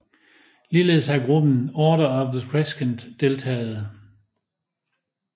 Ligeledes har gruppen Order of the Crescent deltaget